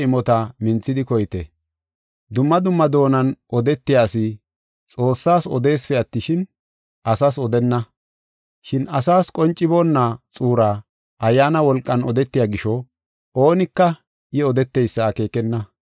Dumma dumma doonan odetiya asi Xoossaas odeesipe attishin, asas odenna. Shin asas qonciboonna xuuraa Ayyaana wolqan odetiya gisho, oonika I odeteysa akeekenna.